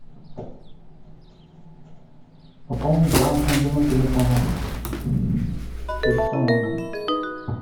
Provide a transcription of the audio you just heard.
пополнить баланс мобильного телефона через что можно